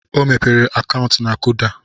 O mepere akaụntụ na Kuda.